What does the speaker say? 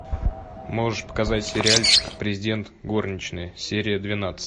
можешь показать сериальчик президент горничная серия двенадцать